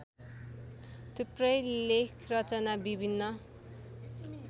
थुप्रै लेखरचना विभिन्न